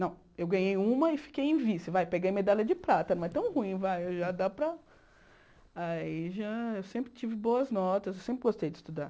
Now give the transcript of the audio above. Não, eu ganhei uma e fiquei em vice, vai, peguei medalha de prata, não é tão ruim, vai, já dá para... Aí já, eu sempre tive boas notas, eu sempre gostei de estudar.